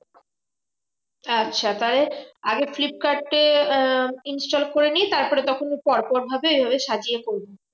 আচ্ছা তাহলে আগে ফ্লিপকার্ডে আহ install করে নিয়ে তারপরে তখন পর পর ভাবে এইভাবে সাজিয়ে করবো।